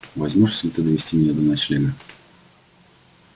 возьмёшься ли ты довести меня до ночлега